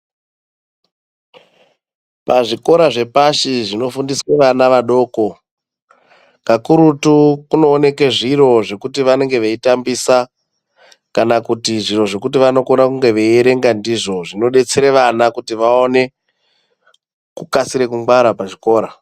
Pazvikora zvepashi zvinofundiswe vana vadoko, kakurutu kunooneke zviro zvekuti vanenge veitambisa kana kuti zviro zvekuti vanokone kunge veierenga ndizvo. Zvinodetsere vana kuti vaone kukasire kungwara pachikora.